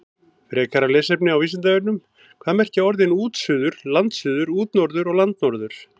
Frekara lesefni á Vísindavefnum: Hvað merkja orðin útsuður, landsuður, útnorður og landnorður?